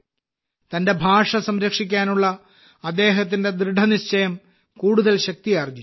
തന്റെ ഭാഷ സംരക്ഷിക്കാനുള്ള അദ്ദേഹത്തിന്റെ ദൃഢനിശ്ചയം കൂടുതൽ ശക്തിയാർജ്ജിച്ചു